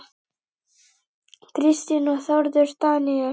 Kristín og Þórður Daníel.